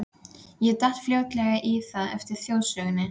Ég datt fljótlega í það eftir þjóðsönginn.